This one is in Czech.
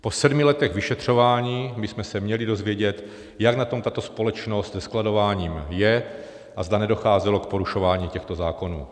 Po sedmi letech vyšetřování, bychom se měli dozvědět, jak na tom tato společnost se skladováním je a zda nedocházelo k porušování těchto zákonů.